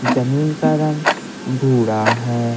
जमीन का रंग बूड़ा है।